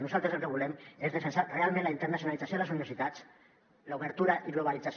nosaltres el que volem és defensar realment la internacionalització de les universitats i la seva obertura i globalització